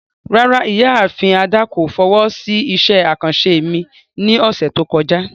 Rárá, Ìyaafin Ada ko fowo si iṣẹ akanṣe mi ni ọsẹ to kọja.